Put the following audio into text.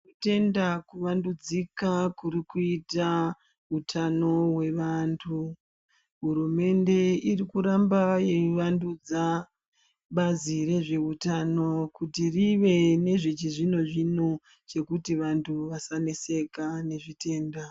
Tenda kuvandudzika kuri kuita utano hwevantu hurumende iri kuramba yeivandudza bazi rezveutano kuti rive nezve chizvino zvino chekuti vantu vasaneseka nezvitenda.